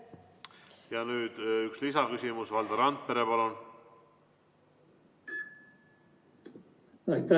Ja nüüd üks lisaküsimus, Valdo Randpere, palun!